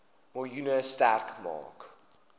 miljoen sterk maak